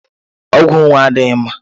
Ọgwụ onwe adịghị mma